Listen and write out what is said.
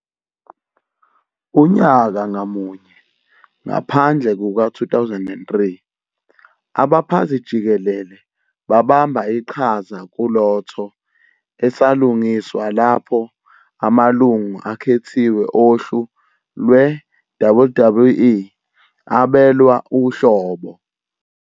Unyaka ngamunye, ngaphandle kuka-2003, Abaphathi-Jikelele babamba iqhaza kulotho esalungiswa lapho amalungu akhethiwe ohlu lwe-WWE abelwa uhlobo.